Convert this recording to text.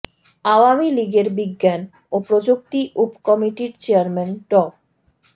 আওয়ামী লীগের বিজ্ঞান ও প্রযুক্তি উপ কমিটির চেয়ারম্যান ড